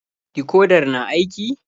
Dikodar na aiki?